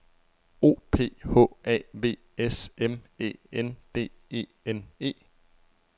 O P H A V S M Æ N D E N E